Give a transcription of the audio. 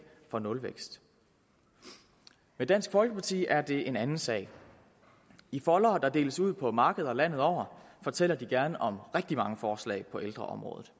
for nulvækst med dansk folkeparti er det en anden sag i foldere der deles ud på markeder landet over fortæller de gerne om rigtig mange forslag på ældreområdet